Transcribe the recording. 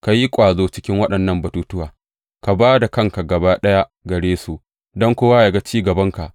Ka yi ƙwazo cikin waɗannan batuttuwa; ka ba da kanka gaba ɗaya gare su, don kowa yă ga ci gabanka.